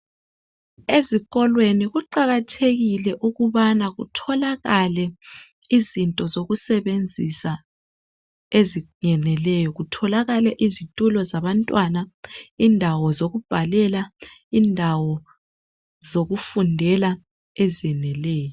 Ezikolweni kuqakathekile ukubana kutholakale izinto zokusebenzisa eziyeneleyo kutholakale izitulo zabantwana indawo zokubhalela indawo zokufundela ezeneleyo